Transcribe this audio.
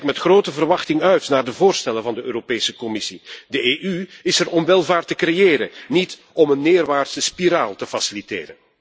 Ik kijk met grote verwachting uit naar de voorstellen van de Europese Commissie. De EU is er om welvaart te creëren, niet om een neerwaartse spiraal te faciliteren.